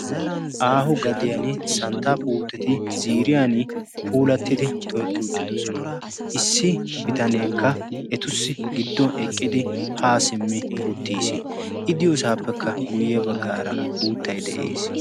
aahu gadiyan santtaa puuteti ziriyan puulattidi tohetti uttidosona issi bitaneekka etussi gidduwan eqqidi haa simmi uttiis i diyoosaappekka guyye baggaara uuttai de7ees